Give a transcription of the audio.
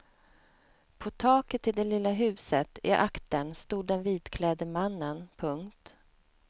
På taket till det lilla huset i aktern stod den vitklädde mannen. punkt